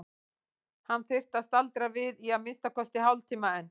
Hann þyrfti að staldra við í að minnsta kosti hálftíma enn.